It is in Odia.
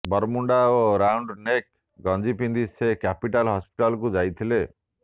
ବର୍ମୁଡ଼ା ଓ ରାଉଣ୍ଡ ନେକ୍ ଗଞ୍ଜି ପିନ୍ଧି ସେ କ୍ୟାପିଟାଲ ହସ୍ପିଟାଲକୁ ଯାଇଥିଲେ